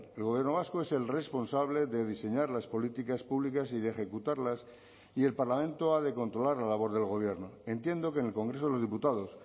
el gobierno vasco es el responsable de diseñar las políticas públicas y de ejecutarlas y el parlamento ha de controlar la labor del gobierno entiendo que en el congreso de los diputados